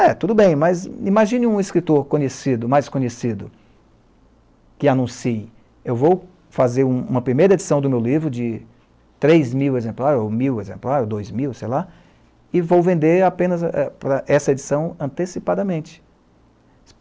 É, tudo bem, mas imagine um escritor conhecido, mais conhecido, que anuncie, eu vou fazer um uma primeira edição do meu livro de três mil exemplares, ou mil exemplares, dois mil, sei lá, e vou vender apenas essa edição antecipadamente.